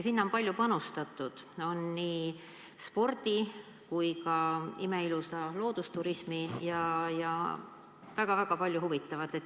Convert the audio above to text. Sinna on palju panustatud, seal on spordivõimalusi, imeilusat loodust ja väga-väga palju huvitavat.